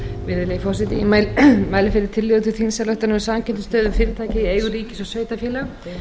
virðulegi forseti ég mæli fyrir tillögu til þingsályktunar um samkeppnisstöðu fyrirtækja í eigu ríkis og sveitarfélaga